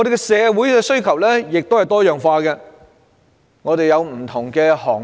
社會的需求也多樣化，有各種不同的行業。